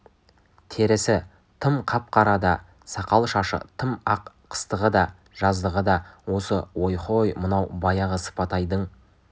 терісі тым қап-қара да сақал-шашы тым ақ қыстығы да жаздығы да осы ой-хой мынау баяғы сыпатайдың